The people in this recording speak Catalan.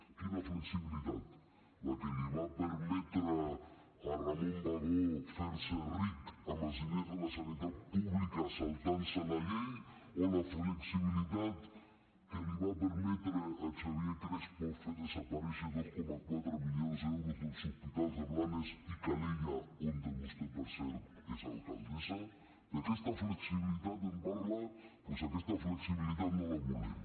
quina flexibilitat la que li va permetre a ramon bagó fer se ric amb els diners de la sanitat pública saltant se la llei o la flexibilitat que li va permetre a xavier crespo fer desaparèixer dos coma quatre milions d’euros dels hospitals de blanes i calella on vostè per cert és alcaldessa d’aquesta flexibilitat em parla doncs aquesta flexibilitat no la volem